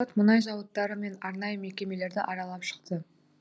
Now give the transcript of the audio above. депутат мұнай зауыттары мен арнайы мекемелерді аралап шықты